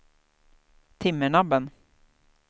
Timmernabben